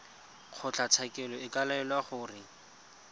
kgotlatshekelo e ka laela gore